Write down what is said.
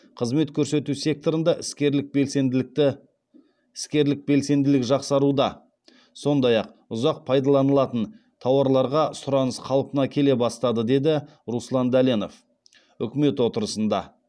қызмет көрсету секторында іскерлік белсенділік жақсаруда сондай ақ ұзақ пайдаланылатын тауарларға сұраныс қалпына келе бастады деді руслан дәленов үкімет отырысында